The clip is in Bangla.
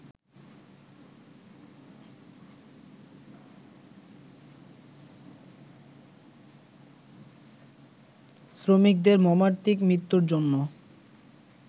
শ্রমিকদের মর্মান্তিক মৃত্যুর জন্য